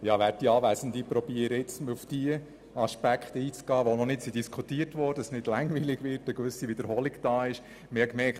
Ich versuche, auf diejenigen Aspekte einzutreten, die noch nicht diskutiert wurden, und Wiederholungen zu vermeiden.